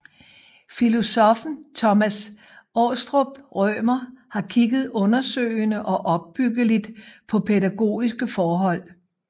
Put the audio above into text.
Filosoffen Thomas Aastrup Rømer har kigget undersøgende og opbyggeligt på pædagogiske forhold